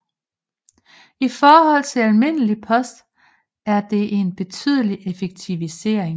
I forhold til almindelig post er det en betydelig effektivisering